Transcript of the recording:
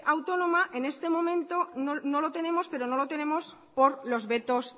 autónoma en este momento no lo tenemos pero no lo tenemos por los vetos